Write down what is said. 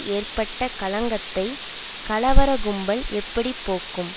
ஏற்பட்ட களங்கத்தை கலவர கும்பல் எப்படி போக்கும்